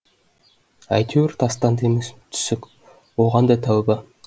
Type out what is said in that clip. әйтеуір тастанды емес түсік оған да тәуба